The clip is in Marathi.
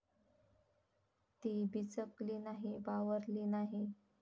ती बिचकली नाही, बावरली नाही.